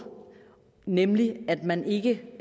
nemlig at man ikke